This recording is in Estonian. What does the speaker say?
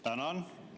Tänan!